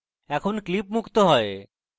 এখন clip মুক্ত হয়